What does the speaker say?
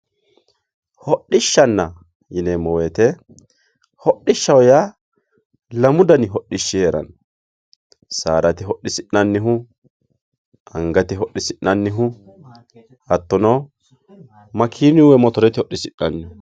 hodhishshanna yineemo woyiite hdhishaho yaa lamu dani hadhishshi heeranno saadate hodhisi'nannihu angate hodhisi'nanihu hattono makiinuyi woye motorete hodhisi'nanihu